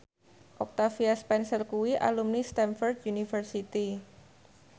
Octavia Spencer kuwi alumni Stamford University